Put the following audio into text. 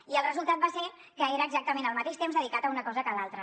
i el resultat va ser que era exactament el mateix temps dedicat a una cosa que a l’altra